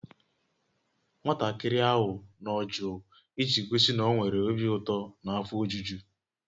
Nwatakịrị ahụ nọ jụụ iji gosi na ọ nwere obi ụtọ na afọ ojuju